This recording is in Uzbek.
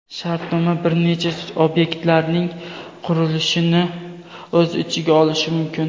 shartnoma bir necha obyektlarning qurilishini o‘z ichiga olishi mumkin.